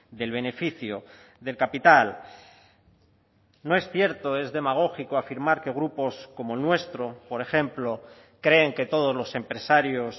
del beneficio del capital no es cierto es demagógico afirmar que grupos como el nuestro por ejemplo creen que todos los empresarios